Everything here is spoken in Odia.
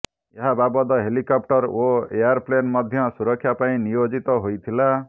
ଏହା ବାଦ୍ ହେଲିକପ୍ଟର ଓ ଏୟାର୍ପ୍ଲେନ୍ ମଧ୍ୟ ସୁରକ୍ଷା ପାଇଁ ନିୟୋଜିତ ହୋଇଥିଲା